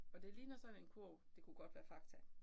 Og det ligner sådan en kurv det kunne godt være Fakta